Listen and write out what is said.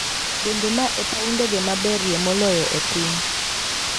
Bende ma e paw ndege maberie moloyo e piny?